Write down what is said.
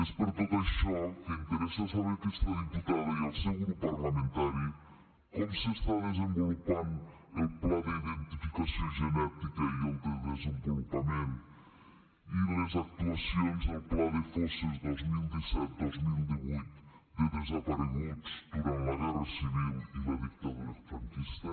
és per tot això que interessa saber a aquesta diputada i al seu grup parlamentari com s’està desenvolupant el pla d’identificació genètica i el de desenvolupament i les actuacions del pla de fosses dos mil disset dos mil divuit de desapareguts durant la guerra civil i la dictadura franquista